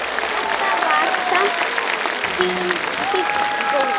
Þetta var samt fínn skóli.